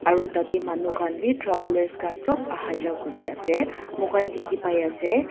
aro tatae manu khan bi travellers khan sop aha jaha kuriase moikhan dikhipaiase.